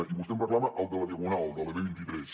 i vostè em reclama el de la diagonal el de la b vint tres